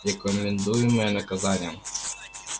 рекомендуемое наказание